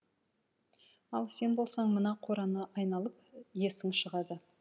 ал сен болсаң мына қораны айналып есің шығады